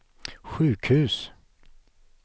sjukhus